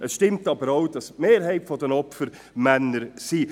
Es stimmt aber auch, dass die Mehrheit der Opfer Männer sind.